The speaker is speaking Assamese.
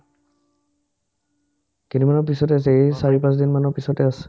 তিনিমাহ পিছতে আছে এ চাৰি-পাচদিনমানৰ পিছতে আছে